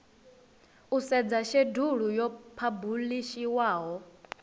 u sedza shedulu yo phabulishiwaho